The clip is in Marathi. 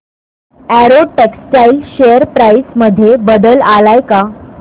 अॅरो टेक्सटाइल्स शेअर प्राइस मध्ये बदल आलाय का